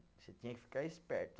Você tinha que ficar esperto.